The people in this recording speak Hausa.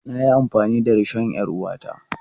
Na yi amfani da rishon 'yar uwata.